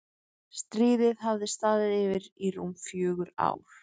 Stríðið hafði staðið yfir í rúm fjögur ár.